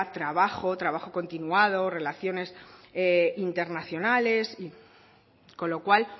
trabajo trabajo continuado relaciones internacionales con lo cual